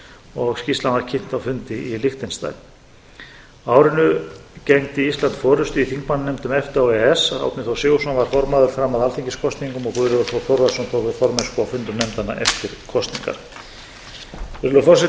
og skýrslan var kynnt á fundi í liechtenstein á árinu gegndi alþingi forustu í þingmannanefndum efta og e e s árni þór sigurðsson var formaður fram að alþingiskosningum og guðlaugur þór þórðarson tók við formennsku á fundum nefndanna eftir kosningar virðulegur forseti ég ætla ekki að